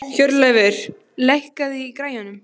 Hjörleifur, lækkaðu í græjunum.